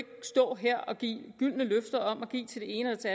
stå her og give gyldne løfter om at give til det ene og til